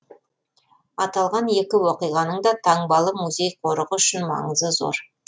аталған екі оқиғаның да таңбалы музей қорығы үшін маңызы зор